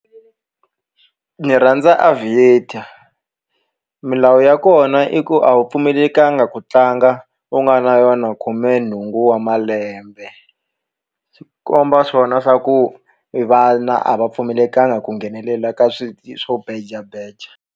Ni rhandza Aviator milawu ya kona i ku a wu pfumelekangi ku tlanga u nga na yona khumenhungu wa malembe swi komba swona swa ku vana a va pfumelekangi ku nghenelela ka swi swo beja beja